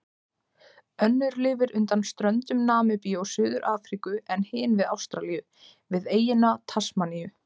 Önnur lifir undan ströndum Namibíu og Suður-Afríku en hin við Ástralíu, við eyjuna Tasmaníu.